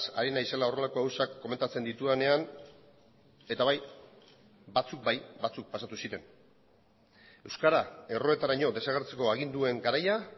ari naizela horrelako gauzak komentatzen ditudanean eta bai batzuk bai batzuk pasatu ziren euskara erroetaraino desagertzeko aginduen garaia